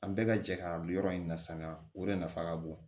An bɛɛ ka jɛ ka yɔrɔ in na sanga o de nafa ka bon